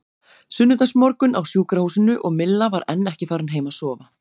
Sunnudagsmorgunn á sjúkrahúsinu og Milla var enn ekki farin heim að sofa.